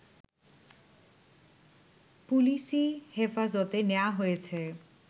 পুলিসি হেফাজতে নেয়া হয়েছে